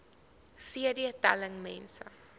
cd telling mense